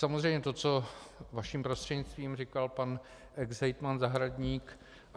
Samozřejmě to, co vaším prostřednictvím říkal pan exhejtman Zahradník.